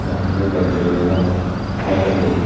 aro hiye beg duriney jadon saiodi.